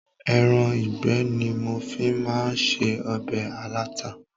Ẹran ìgbẹ́ ni mo fi máa ń se ọbẹ̀ alata.